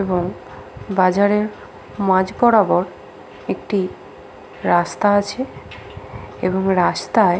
এবং বাজারেব় মাঝ বরাবর একটি রাস্তা আছে এবং রাস্তায়--